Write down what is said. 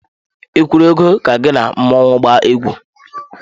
Ị kwụrụ ego ka gị na mmọnwụ gbaa egwu?